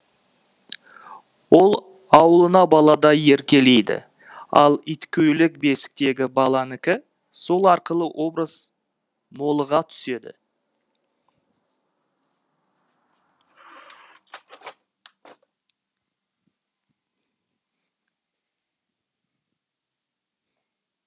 ол ауылына баладай еркелейді ал иткөйлек бесіктегі баланікі сол арқылы образ молыға түседі